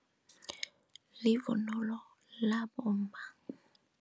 Livunulo labomma.